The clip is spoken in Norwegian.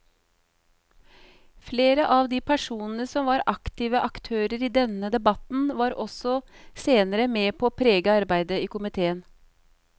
Flere av de personene som var aktive aktører i denne debatten var også senere med på å prege arbeidet i komiteen.